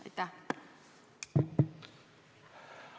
Aitäh!